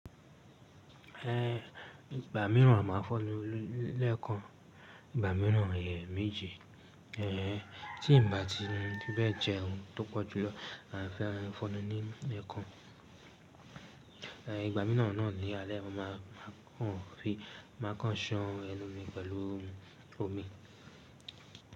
Ìgbà mìíràn máa fọnu lẹ́ẹ̀kan, ìgbà míràn è méji. Ẹ̀, tí ǹ bá ti di bẹ́ẹ̀ jẹun tó pọ̀ júlọ, a fẹ́ran fọnu ni ẹẹ́kan. Ìgbà míràn náà ní alẹ́, a máa kàn ọ̀ fi, máa kàn ṣan ẹnu mi pẹ̀lú omi.